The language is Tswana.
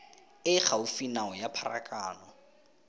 e gaufi nao ya pharakano